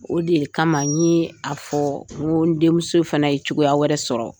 O de kama n ye a fɔ n ko n denmuso fana ye cogoya wɛrɛ sɔrɔ.